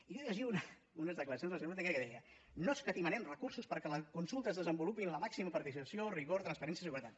i jo llegia unes declaracions de la senyora ortega que deia no escatimarem recursos perquè la consulta es desenvolupi amb la màxima participació rigor transparència i seguretat